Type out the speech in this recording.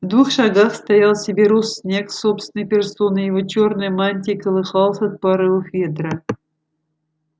в двух шагах стоял северус снегг собственной персоной его чёрная мантия колыхалась от порывов ветра